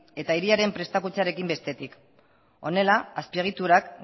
eta hiriaren prestakuntzarekin bestetik honela azpiegitura